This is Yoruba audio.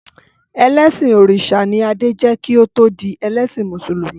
Ẹlẹsin Orisha ni Adé jẹ́ kí ó tó di ẹlẹ́sìn Mùsùlùmí.